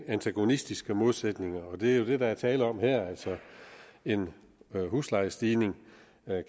antagonistiske modsætninger og det er jo det der er tale om her altså en huslejestigning